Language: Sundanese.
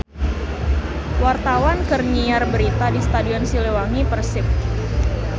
Wartawan keur nyiar berita di Stadion Siliwangi Persib